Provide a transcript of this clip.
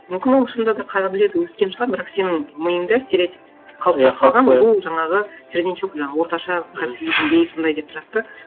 мүмкін ол шынында да қаға біледі өскен шығар бірақ сенің миыңда стереотип қалыптасып қалған бұл жаңағы середнячок жаңа орташа кәсіби деңгейі сондай деп тұрады да